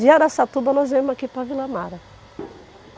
De Araçatuba nós viemos aqui para Vila Mara.